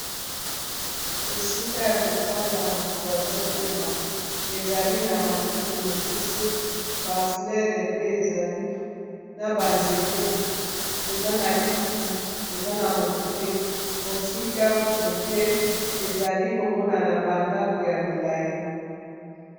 Esika ya kofanda moto azopema ezali na matiti mokuse baflere pe ezali na ba nzete eza na kiti eza na moto te mosika mokie ezali komona na bandako ya milayi.